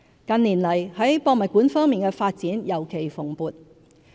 近年來，在博物館方面的發展尤其蓬勃。